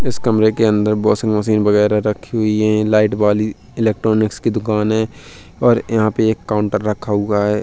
इस कमरे के अंदर वाशिंग मशीन बगैरा रखी हुई है। लाइट वाली इलेक्ट्रॉनिक्स की दुकान है और यहाँ पे एक काउंटर रखा हुआ है।